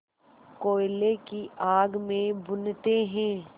कोयले की आग में भूनते हैं